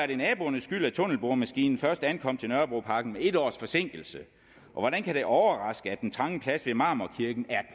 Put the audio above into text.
det er naboernes skyld at tunnelboremaskinen først ankom til nørrebroparken med et års forsinkelse og hvordan kan det overraske at den trange plads ved marmorkirken er